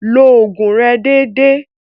Lo ògùn rẹ dédé.